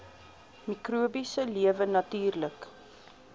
mikrobiese lewe natuurlik